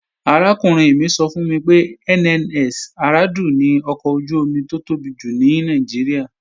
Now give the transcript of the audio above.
Arákùnrin mi sọ fún mi pé NNS Aradu ni ọkọ̀ ojú-omi tó tóbi jù ní Nàìjíríà